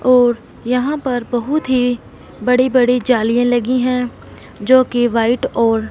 और यहां पर बहुत ही बड़ी बड़ी जालियां लगी हैं जोकि व्हाइट और--